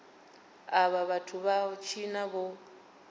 avha vhathu vha tshina vho